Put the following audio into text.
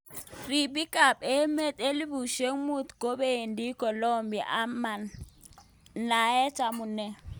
Ribik ab emet elibushek mut kobendi Kolumbia ama naat amune.